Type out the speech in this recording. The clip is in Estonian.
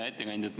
Hea ettekandja!